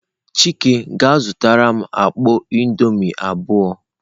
Chike je zutaram mkpọ indomie abuo!.